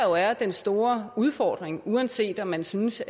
jo er den store udfordring uanset om man synes